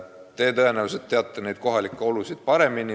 Te tõenäoliselt teate kohalikke olusid paremini.